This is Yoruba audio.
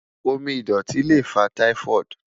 Omi idọti le fa Typhoid